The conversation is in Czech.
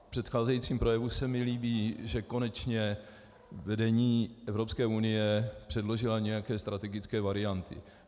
Na předcházejícím projevu se mi líbí, že konečně vedení Evropské unie předložilo nějaké strategické varianty.